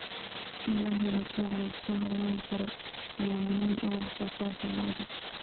In la helo suuq la isku halayn karo ayaa muhiim u ah wax soo saarka lo'da.